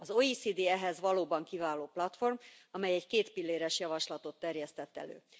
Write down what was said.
Az OECD ehhez valóban kiváló platform, amely egy kétpilléres javaslatot terjesztett elő.